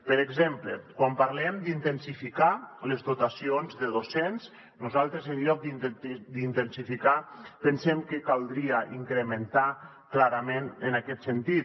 per exemple quan parlem d’intensificar les dotacions de docents nosaltres en lloc d’intensificar pensem que caldria incrementar clarament en aquest sentit